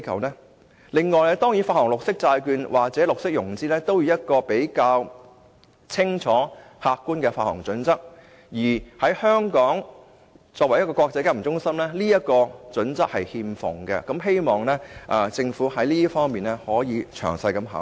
此外，發行綠色債券或綠色融資亦需要一個比較清楚、客觀的發行準則，而香港作為一個國際金融中心，此項準則卻欠奉，希望政府可在這方面作出詳細的考慮。